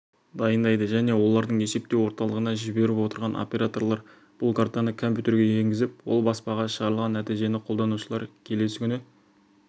дайындайды және оларды есептеу орталығына жіберіп отырған операторлар бұл картаны компьютерге енгізіп ал баспаға шығарылған нәтижені қолданушылар келесі күні